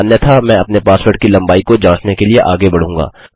अन्यथा मैं अपने पासवर्ड की लम्बाई को जाँचने के लिए आगे बढूँगा